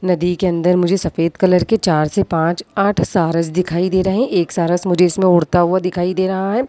नदी के अंदर मुझे सफेद कलर के चार से पांच आठ शारस दिखाई दे रहे हैं एक शारस मुझे इसमें उड़ता हुआ दिखाई दे रहा है।